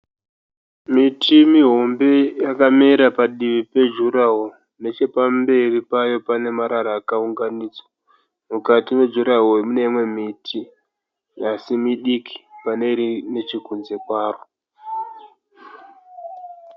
Miti mihombe yakamera padivi pejuraho. Nechepamberi payo pane marara akaunganidzwa. Mukati mejuraho mune imwe miti asi midiki pane iri nechekunze kwaro.